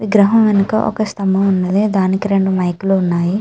విగ్రహము వెనుక ఒక స్తంభం ఉన్నది. దానికి రెండు మైకు లు ఉన్నాయి.